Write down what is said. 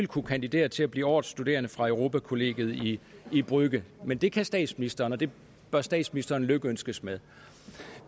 kunne kandidere til at blive årets studerende fra europakollegiet i i brügge men det kan statsministeren og det bør statsministeren lykønskes med